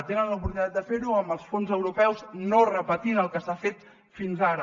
tenen l’oportunitat de fer ho amb els fons europeus no repetint el que s’ha fet fins ara